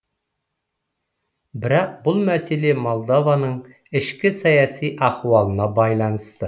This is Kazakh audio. бірақ бұл мәселе молдованың ішкі саяси ахуалына байланысты